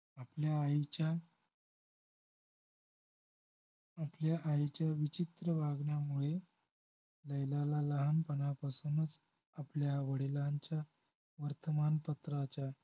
आपल्या आईच्या आपल्या आईच्या विचित्र वागण्यामुळे लैलाला लहानपणापासूनच आपल्या वडिलांच्या वर्तमानपत्राच्या